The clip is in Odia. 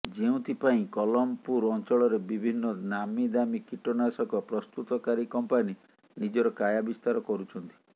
ଯେଉଁଥି ପାଇଁ କଲମପୁର ଅଞ୍ଚଳରେ ବିଭିନ୍ନ ନାମୀ ଦାମୀ କୀଟନାଶକ ପ୍ରସ୍ତୁତକାରୀ କମ୍ପାନୀ ନିଜର କାୟା ବିସ୍ତାର କରୁଛନ୍ତି